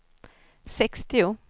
sextio